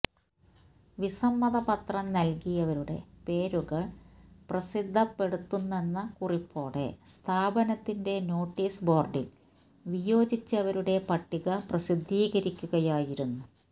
വിസമ്മതപത്രം നല്കിയവരുടെ പേരുകള് പ്രസിദ്ധപ്പെടുത്തുന്നെന്ന കുറിപ്പോടെ സ്ഥാപനത്തിന്റെ നോട്ടീസ് ബോര്ഡില് വിയോജിച്ചവരുടെ പട്ടിക പ്രസിദ്ധീകരിക്കുകയായിരുന്നു